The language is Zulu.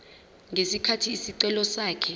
ngesikhathi isicelo sakhe